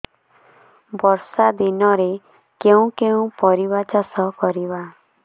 ବର୍ଷା ଦିନରେ କେଉଁ କେଉଁ ପରିବା ଚାଷ କରିବା